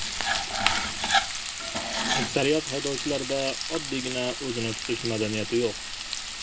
Aksariyat haydovchilarda oddiygina o‘zini tutish madaniyati yo‘q”.